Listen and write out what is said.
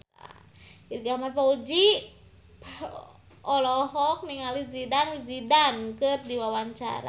Irgi Ahmad Fahrezi olohok ningali Zidane Zidane keur diwawancara